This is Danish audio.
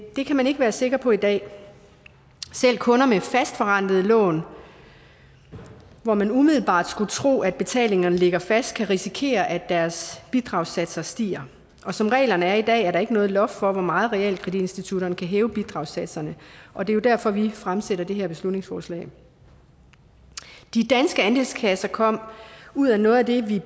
det kan man ikke være sikker på i dag selv kunder med fastforrentede lån hvor man umiddelbart skulle tro at betalingerne ligger fast kan risikere at deres bidragssatser stiger som reglerne er i dag er der ikke noget loft for hvor meget realkreditinstitutterne kan hæve bidragssatserne og det er jo derfor vi fremsætter det her beslutningsforslag de danske andelskasser kom ud af noget af det vi